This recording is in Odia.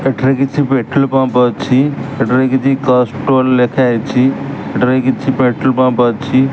ଏଠାରେ କିଛି ପେଟ୍ରୋଲ୍ ପମ୍ପ୍ ଅଛି ଏଠାରେ କିଛି କସଟ୍ରୋଲ୍ ଲେଖାହେଇଚି ଏଠାରେ କିଛି ପେଟ୍ରୋଲ୍ ପମ୍ପ୍ ଅଛି।